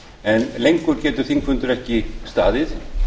en lengur getur þingfundur ekki staðið